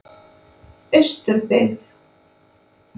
Austurbyggð